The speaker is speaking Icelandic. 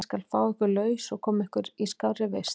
Ég skal fá ykkur laus og koma ykkur í skárri vist.